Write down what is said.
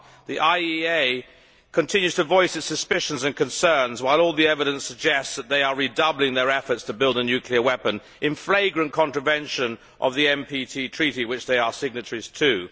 The IEA continues to voice its suspicions and concerns while all the evidence suggests that they are redoubling their efforts to build a nuclear weapon in flagrant contravention of the NPT Treaty which they are signatories to.